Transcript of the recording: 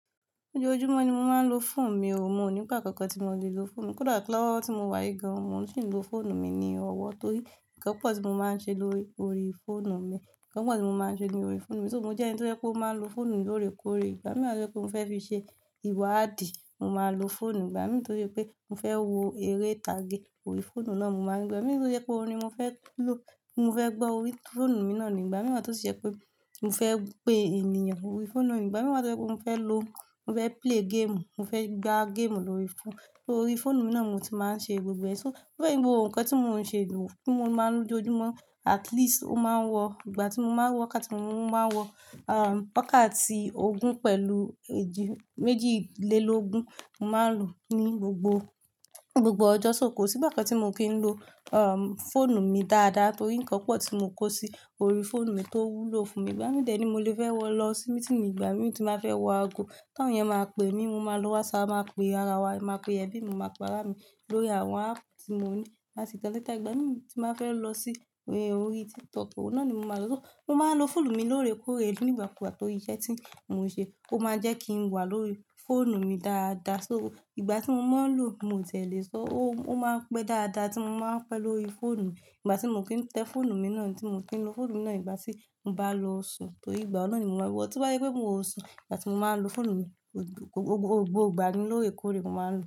Ojojúmọ́ ni mo máa ń lo fóònù mi o, mo ò ní ìgbà kankan tí mo le lo fóònù mi. Lọ́ wo tí mo wá yi gan, mo sì ń lo fóònù mi ni ọwọ́ torí nnkan pọ̀ tí mo máa ń ṣe lórí fóònù mi. Nnkan pọ̀ tí mo máa ń ṣe ni orí fóònù mi. So mo jẹ́ ẹni tí ó jẹ́ pé ó máa lo fóònù lórèkórè. Ìgbà mìí wà to jẹ́ pé mo fẹ́ fi ṣe ìwa àdìí, mo máa lo fóònù. Ìgbà mìí tó ṣe pé mo fẹ́ wo eré ìtàgé orí fóònù náà, mo máa lòó. Ìgbà mìí tó ṣe pé orin ni mo fẹ́ lo, mo fẹ́ gbọ́ orí fóònù mi náà ni ìgbà mìí tó sì ṣe pé mo fẹ́ pe ènìyàn orí fóònù mi. Ìgbà mìí tó ṣe pé mo fẹ́ lo, mo fẹ́ play game, mo fẹ́ gbá game lórí fóònù, orí fóònù mi náà ni mo ti máa ń ṣe gbogbo ẹ. So ó jẹ́ gbogbo nǹkan tí mo ń ṣe kí mo máa lò ojojúmọ́. At least ó máa ń wọ ìgbà tí mo máa ń wọ wákàtí, mo máa ń wọ, wákàtí ogún pẹ̀lú èjì, méjìlélógún mo máa ń lò ní gbogbo, gbogbo ọjọ́ sóko. Sí gba kan tí mo kí ń lo, fóònù mi dáadáa torí nnkan pọ̀ tí mo kó sí orí fóònù mi tó wúlò fún mi. Ìgbà mìí dé ni i, mo lè fẹ́ wọ lọ sí meeting ìgbà mìí tí m bà fẹ́ wọ ago. Táyàn máa pe mí, mo máa lo WhatsApp, màá pe ara wa, màá pe ẹbí mi, màá para mi lórí àwọn app tí mo ní láti kò lẹ́ta. Ìgbà mìíràn tí màá fẹ́ lọ sí orí TikTok, on naa ni máa lò. So mo máa ń lo fóònù mi lórèkórè nígbà kùgba tóri iṣẹ́ tí mo ń ṣe. Ó máa jẹ́ kí n wà lórí fóònù mi dáadáa. So ìgbà tí mo máa ń lò, mo tẹ̀lẹ̀ sọ, ó, ó máa ń pẹ́ dáadáa tí mo máa ń pẹ́ lọ́rí fóònù. Ìgbà tí mo kí ń tẹ fóònù mi náà ni tí mo kí ń lo fóònù mi náà. Ìgbà tí mo bá lọ sùn torí ìgbà náà ni mo máa wọ̀. Tí wọ́n bá yé pé mo sùn, ìgbà tí mo máa ń lo fóònù mi, ògbó, gbogbo ìgbà ni lórèkórè mo máa ń lò.